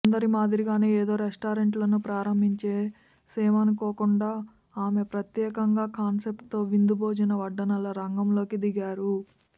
అందరిమాదిరిగా ఏదో రెస్టారెంట్లను ప్రారంభించేసేమనుకోకుండా ఆమె ఒక ప్రత్యేకమైన కాన్సెప్ట్ తో విందు భోజన వడ్డనల రంగంలోకి దిగారు